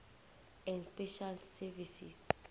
and special services